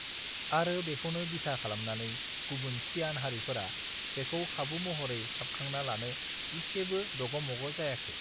आरो बेखौनो बिथा खालामनानै गुबुन सियान हारिफोरा बेखौ खाबु महरै साबखांना लानो इसेबो दगमगजायाखै